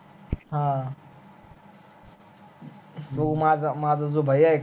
ह तो माझा, माझा जो भाई कां